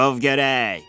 Qav gərək!